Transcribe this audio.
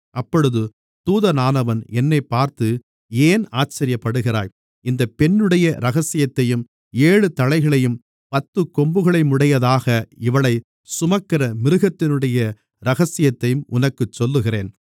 அப்பொழுது தூதனானவன் என்னைப் பார்த்து ஏன் ஆச்சரியப்படுகிறாய் இந்தப் பெண்ணுடைய இரகசியத்தையும் ஏழு தலைகளையும் பத்துக் கொம்புகளையுமுடையதாக இவளைச் சுமக்கிற மிருகத்தினுடைய இரகசியத்தையும் உனக்குச் சொல்லுகிறேன்